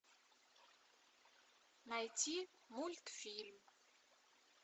найти мультфильм